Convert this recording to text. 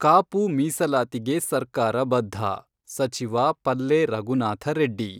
ಕಾಪು ಮೀಸಲಾತಿಗೆ ಸರ್ಕಾರ ಬದ್ಧ: ಸಚಿವ ಪಲ್ಲೆ ರಘುನಾಥ ರೆಡ್ಡಿ.